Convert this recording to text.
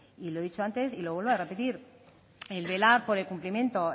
y lo he dicho antes y lo vuelvo a repetir el velar por el cumplimiento